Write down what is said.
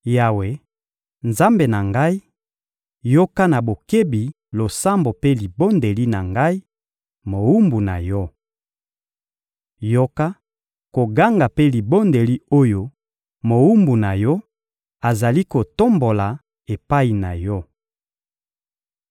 Yawe, Nzambe na ngai, yoka na bokebi losambo mpe libondeli na ngai, mowumbu na Yo! Yoka koganga mpe libondeli oyo mowumbu na Yo azali kotombola epai na Yo!